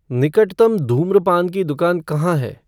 निकटतम धूम्रपान की दुकान कहाँ है